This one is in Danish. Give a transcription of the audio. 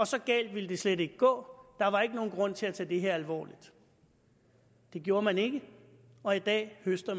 så galt ville det slet ikke gå der var ikke nogen grund til at tage det her alvorligt det gjorde man ikke og i dag høster